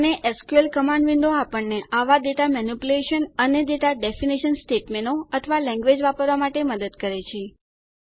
અને SQL command window આપણને આવાં ડેટા મેનીપ્યુલેશન અને ડેટા ડેફિનેશન સ્ટેટમેંટો અથવા લેન્ગવેજ વાપરવાં માટે મદદ કરે છે